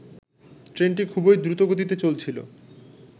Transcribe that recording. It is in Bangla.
ট্রেনটি খুবই দ্রুতগতিতে চলছিলো